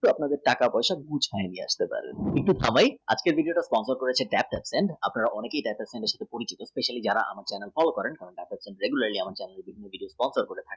দশ হাজার টাকা বছর দুই এক রাখতে পারেন আজকের দিনে এটা follow করেছি আপনার অনেকেই data science এর সঙ্গে পরিচিত especially যারা আমাকে call যারা আমাকে sponsor করেছেন